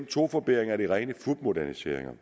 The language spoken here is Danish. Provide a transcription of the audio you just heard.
to forbedringer er de rene fupmoderniseringer